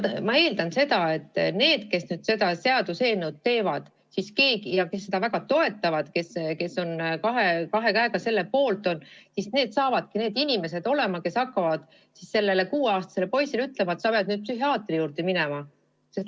Ma eeldan, et need, kes seda seaduseelnõu teevad ja kes seda väga toetavad ja kes on kahe käega selle poolt olnud, saavadki olema need inimesed, kes hakkavad näiteks 6-aastasele poisile ütlema, et sa pead nüüd psühhiaatri juurde minema.